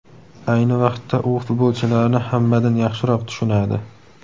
Ayni vaqtda u futbolchilarni hammadan yaxshiroq tushunadi.